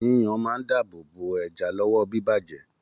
Yíyan máa n dáàbò bo ẹja lọwọ bibajẹ.